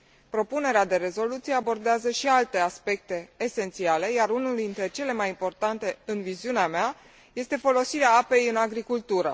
Propunerea de rezoluție abordează și alte aspecte esențiale, iar unul dintre cele mai importante, în viziunea mea, este folosirea apei în agricultură.